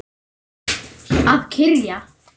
Að kyrja.